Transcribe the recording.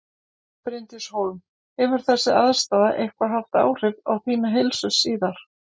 Bryndís Hólm: Hefur þessi aðstaða eitthvað haft áhrif á þína heilsu síðar?